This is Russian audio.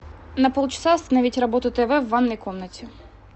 на полчаса остановить работу тв в ванной комнате